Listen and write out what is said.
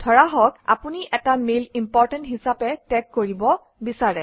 ধৰা হওক আপুনি এটা মেইল ইম্পৰ্টেণ্ট হিচাপে টেগ কৰিব বিচাৰে